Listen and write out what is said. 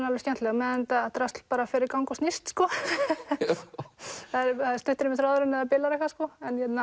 alveg skemmtileg meðan þetta drasl fer í gang og snýst sko það er stuttur í mér þráðurinn ef það bilar eitthvað sko